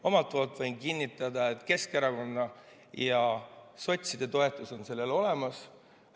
Omalt poolt võin kinnitada, et Keskerakonna ja sotside toetus on sellel olemas.